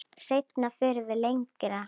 Seinna förum við lengra.